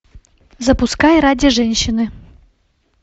запускай ради женщины